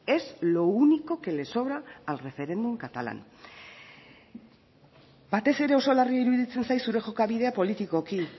es lo único que le sobra el referéndum catalán batez ere oso larri iruditzen zait zure jokabide politikoki